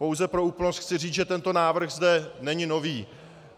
Pouze pro úplnost chci říct, že tento návrh zde není nový.